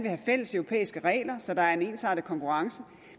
have fælles europæiske regler så der er en ensartet konkurrence